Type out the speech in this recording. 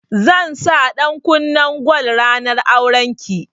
Zan sa ɗankunnen gwal ranar auren ki